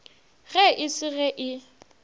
ge e se ge e